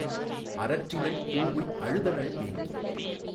அரற்றினள் கூஉய் அழுதனள் ஏங்கி